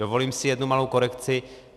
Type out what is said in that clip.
Dovolím si jednu malou korekci.